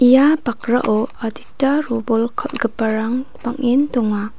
ia bakrao adita robol kal·giparang bang·en donga.